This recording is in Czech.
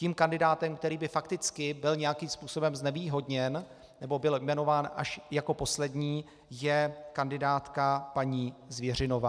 Tím kandidátem, který by fakticky byl nějakým způsobem znevýhodněn nebo byl jmenován až jako poslední, je kandidátka paní Zvěřinová.